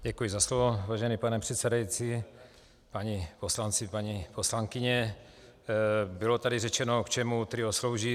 Děkuji za slovo, vážený pane předsedající, páni poslanci, paní poslankyně, bylo tady řečeno, k čemu TRIO slouží.